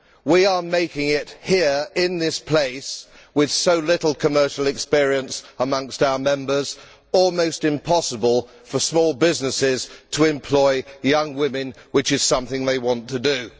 We are making it here in this place with so little commercial experience amongst our Members almost impossible for small businesses to employ young women, which is something they want to do.